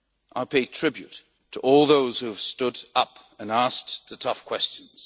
I pay tribute to all those who have stood up and asked the tough questions.